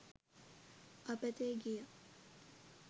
අපතේ ගියා